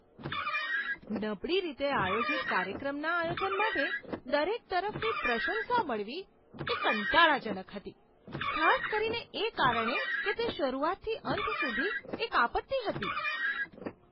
નબળી રીતે આયોજિત કાર્યક્રમના આયોજન માટે દરેક તરફથી પ્રશંસા મળવી એ કંટાળાજનક હતી, ખાસ કરીને એ કારણે કે તે શરૂઆતથી અંત સુધી એક આપત્તિ હતી.